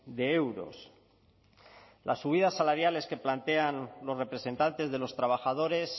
de euros las subidas salariales que plantean los representantes de los trabajadores